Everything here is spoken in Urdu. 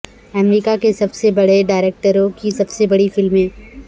امریکہ کے سب سے بڑے ڈائریکٹروں کی سب سے بڑی فلمیں